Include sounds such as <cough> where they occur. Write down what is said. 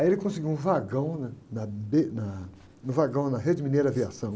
Aí ele conseguiu um vagão né? Na, <unintelligible> na, no vagão na Rede Mineira Aviação.